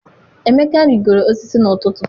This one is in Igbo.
Emeka rigoro osisi n'ụtụtụ.